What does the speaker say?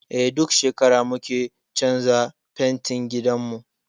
Eh, duk shekara muke canza fentin gidanmu.